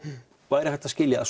væri hægt að skilja